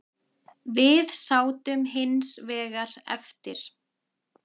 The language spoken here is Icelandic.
Við sátum hins vegar eftir.